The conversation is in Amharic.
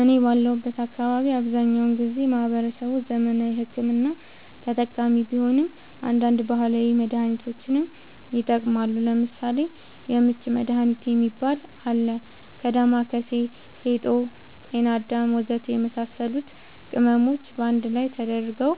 እኔ ባለሁበት አካባቢ አብዛኛውን ጊዜ ማህበረሰቡ ዘመናዊ ሕክምና ተጠቃሚ ቢሆንም አንዳንድ ባህላዊ መድሃኒቶችንም ይጠቀማሉ ለምሳሌ:- የምች መድሃኒት የሚባል አለ ከ ዳማከሲ ፌጦ ጤናአዳም ወዘተ የመሳሰሉት ቅመሞች ባንድ ላይ ተደርገው